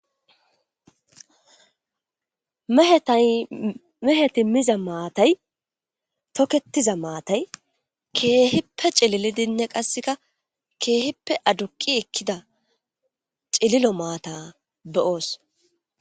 Meheti mida mathayi toketiza mathayi kehi ci,ililidinne qasika kehippe aduqidi ekida cililo matha be,os